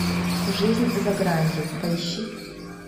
жизнь за гранью поищи